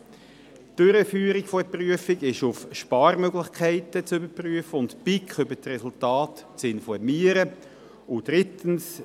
Die Durchführung der Prüfung ist auf Sparmöglichkeiten zu überprüfen und die BiK über die Resultate zu informieren.